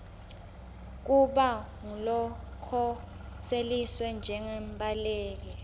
kuba ngulokhoseliswe njengembaleki